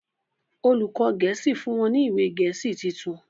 olùkó gèésì fún wón ní ìwé gèésì títún.